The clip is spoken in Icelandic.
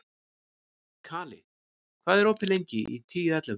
Kali, hvað er opið lengi í Tíu ellefu?